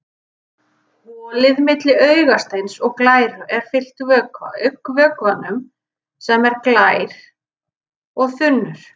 Holið milli augasteins og glæru er fyllt vökva, augnvökvanum sem er glær og þunnur.